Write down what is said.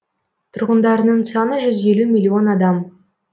тұрғындарының саны жүз елу миллион адам